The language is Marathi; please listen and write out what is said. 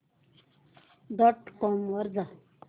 डॉट कॉम वर जा